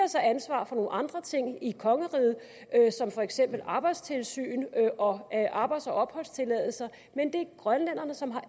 så ansvaret for nogle andre ting i kongeriget som for eksempel arbejdstilsyn og arbejds og opholdstilladelse men det er grønlænderne som har